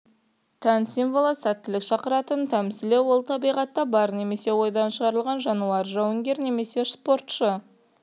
тән символы сәттілік шақыратын тәмсілі ол табиғатта бар немесе ойдан шығарылған жануар жауынгер немесе спортшы